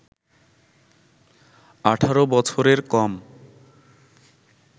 ১৮ বছরের কম